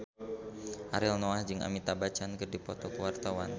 Ariel Noah jeung Amitabh Bachchan keur dipoto ku wartawan